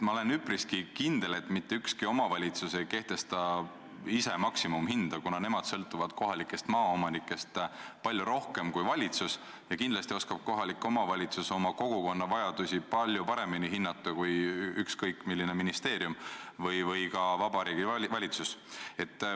Ma olen üpriski kindel, et mitte ükski omavalitsus ei kehtesta ise maksimumhinda, kuna nemad sõltuvad kohalikest maaomanikest palju rohkem kui valitsus ja kindlasti oskab kohalik omavalitsus oma kogukonna vajadusi palju paremini hinnata kui ükskõik milline ministeerium või ka Vabariigi Valitsus.